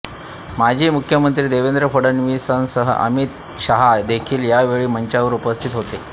माजी मुख्यमंत्री देवेंद्र फडणवीसांसह अमित शहा देखील यावेळी मंचावर उपस्थित होते